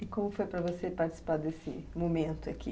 E como foi para você participar desse momento aqui?